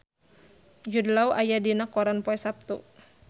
Jude Law aya dina koran poe Saptu